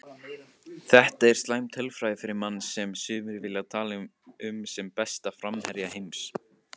Þetta er slæm tölfræði fyrir mann sem sumir vilja tala um sem besta framherja heims.